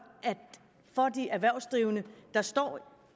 at de erhvervsdrivende der står